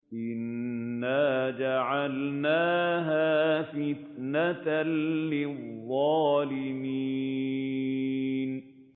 إِنَّا جَعَلْنَاهَا فِتْنَةً لِّلظَّالِمِينَ